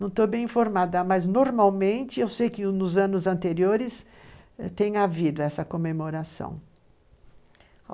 Não estou bem informada, mas normalmente eu sei que nos anos anteriores tem havido essa comemoração.